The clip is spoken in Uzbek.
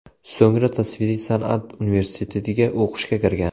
So‘ngra tasviriy san’at universitetiga o‘qishga kirgan.